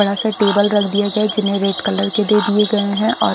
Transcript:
बड़ा सा टेबल रख दिया गया है जिन्हें रेड कलर के दे दिए गए हैं और--